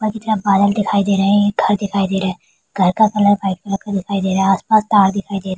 बगीचा दिखाई दे रहे है एक घर दिखाई दे रहा है घर का कलर वाइट कलर का दिखाई दे रहा है आस-पास तार दिखाई दे -